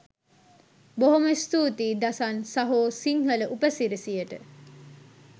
බොහොම ස්තූතියි දසන් සහෝ සිංහල උපසිරැසියට